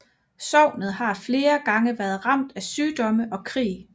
Sognet har flere gange været ramt af sygdomme og krig